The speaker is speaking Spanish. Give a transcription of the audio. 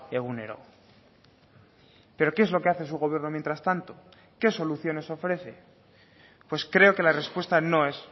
egunero pero qué es lo que hace su gobierno mientras tanto qué soluciones ofrece pues creo que la respuesta no es